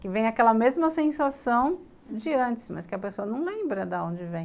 Que vem aquela mesma sensação de antes, mas que a pessoa não lembra da onde vem.